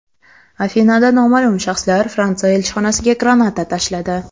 Afinada noma’lum shaxslar Fransiya elchixonasiga granata tashladi.